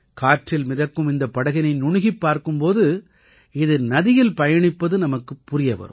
காற்றில் மிதக்கும் இந்தப் படகினை நுணுகிப் பார்க்கும் போது இது நதியில் பயணிப்பது நமக்குப் புரிய வரும்